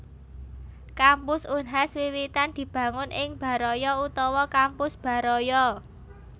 Kampus Unhas wiwitan dibangun ing Baraya utawa Kampus Baraya